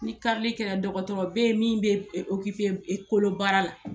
Ni karili kɛra dɔgɔtɔrɔ beyi min bɛ kolobaara la.